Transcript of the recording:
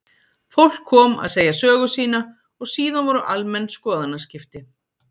Fólk kom að segja sögu sína og síðan voru almenn skoðanaskipti.